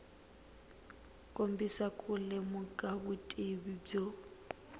kombisa ku lemuka vutivi byo